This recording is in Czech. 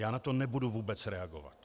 Já na to nebudu vůbec reagovat.